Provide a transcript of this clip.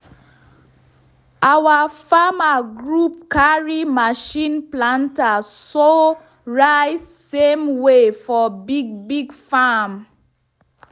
our farmer group carry machine planter sow rice same way for big big farm.